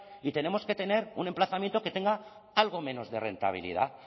y tenemos que tener un emplazamiento que tenga algo menos de rentabilidad